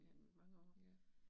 Ja, ja